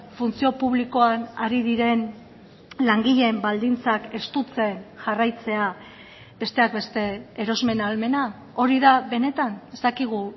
funtzio publikoan ari diren langileen baldintzak estutzen jarraitzea besteak beste erosmen ahalmena hori da benetan ez dakigu